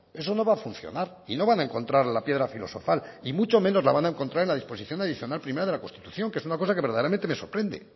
eso no va a funcionar y no van a encontrar la piedra filosofal y mucho menos la van a encontrar en la disposición adicional primera de la constitución que es una cosa que verdaderamente me sorprende